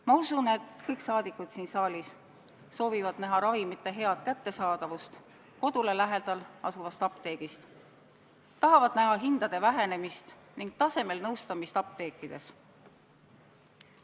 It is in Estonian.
Ma usun, et kõik rahvasaadikud siin saalis soovivad näha ravimite head kättesaadavust kodule lähedal asuvast apteegist, tahavad näha hindade alanemist ning tasemel nõustamist apteekides.